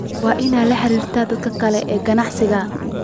Waa inaad la xiriirto dadka kale ee ganacsiga.